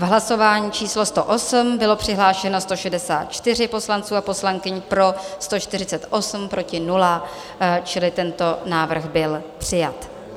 V hlasování číslo 108 bylo přihlášeno 164 poslanců a poslankyň, pro 148, proti 0, čili tento návrh byl přijat.